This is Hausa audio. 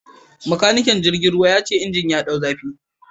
Makanikin jirgin ruwa ya ce inji ya dau zafi